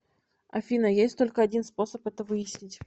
афина есть только один способ это выяснить